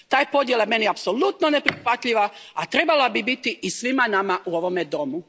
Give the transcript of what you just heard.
Ta je podjela meni apsolutno neprihvatljiva, a trebala bi biti i svima nama u ovome domu.